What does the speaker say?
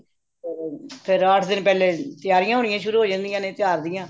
ਫ਼ੇਰ ਰਾਤ ਦਿਨ ਫ਼ਿਰ ਪਹਿਲੇ ਤਿਆਰੀਆਂ ਹੋਣੀਆਂ ਸ਼ੁਰੂ ਹੋ ਜਾਂਦੀਆਂ ਨੇ ਤਿਉਹਾਰ ਦੀਆਂ